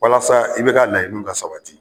Walasa i be ka layini ka sabati.